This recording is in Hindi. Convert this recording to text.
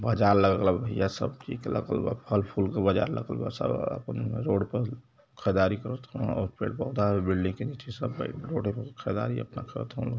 बाजार लगल ह भइया सब ची त लगल बा फल फूल क बाजार लगल बा सब आपन रोड पर ख़दारी करत हवं और पेड पौधा बिल्डिंग के नीचे सभे रोड़े पर खरदारी अपना करत हवं लोग।